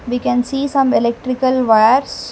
we can see some electrical wires.